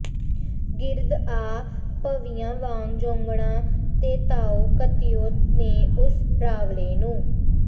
ਗਿਰਦ ਆ ਭੰਵੀਆਂ ਵਾਂਗ ਜੋਗਣਾਂ ਦੇ ਤਾਉ ਘਤਿਉ ਨੇ ਓਸ ਰਾਵਲੇ ਨੂੰ